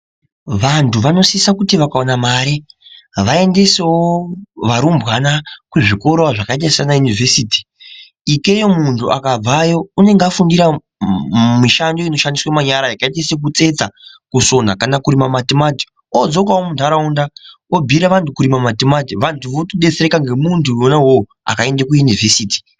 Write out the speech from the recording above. Vantu vanosisa kuti vakawana mare vaendesewo varumbwana kuzvikorawo zvakaita sanayunivhesiti. Ikeyo muntu akabvayo, unenga afundira mishando inoshandiswa manyara yakaita sekutsetsa, kusona kana kurima matimati. Wadzokawo muntaraunda obhuyira vantu kurima matimati. Vantu votodetsereka ngemuntu wona wowo akaende kuyunivhesiti.